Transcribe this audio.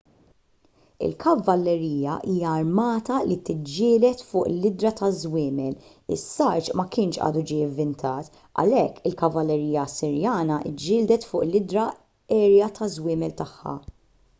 il-kavallerija hija armata li tiġġieled fuq l-idhra taż-żwiemel is-sarġ ma kienx għadu ġie ivvintat għalhekk il-kavallerija assirjana ġġieldet fuq l-idhra għerja taż-żwiemel tagħha